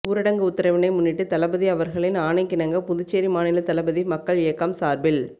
ஊரடங்கு உத்தரவினை முன்னிட்டு தளபதி அவர்களின் ஆணைக்கிணங்க புதுச்சேரி மாநில தளபதி மக்கள் இயக்கம் சார்பில்